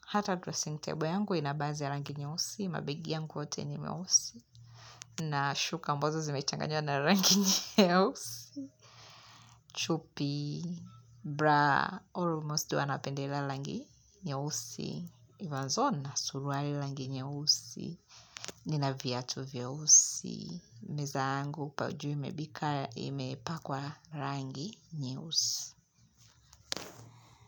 Hata dressing table yangu ina baadhi ya rangi nyeusi. Mabegi yangu ni meusi. Nashuka ambazo zimechanganywa na rangi nyeusi. Chupi bra almost huwa napendelea rangi nyeusi vazo na suruali rangi nyeusi. Nina viatu vyeusi. Meza yangu pa juu imebika ime pakwa rangi nyeusi.